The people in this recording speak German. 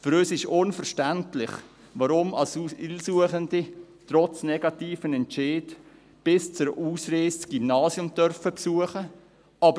Für uns ist unverständlich, weshalb Asylsuchende trotz negativem Entscheid bis zur Ausreise das Gymnasium besuchen dürfen.